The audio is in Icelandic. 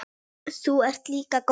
Þú ert líka góður.